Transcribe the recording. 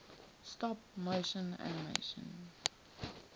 stop motion animation